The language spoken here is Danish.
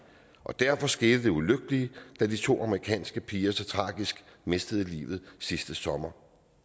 og derfor skete det ulykkelige da de to amerikanske piger så tragisk mistede livet sidste sommer